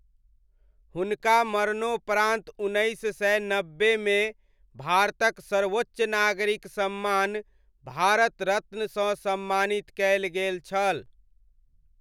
हुनका मरणोपरान्त उन्नैस सय नब्बेमे भारतक सर्वोच्च नागरिक सम्मान भारत रत्नसँ सम्मानित कयल गेल छल।